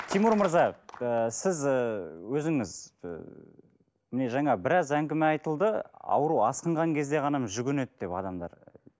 тимур мырза ы сіз ы өзіңіз ы міне жаңа біраз әңгіме айтылды ауру асқынған кезде ғана жүгінеді деп адамдар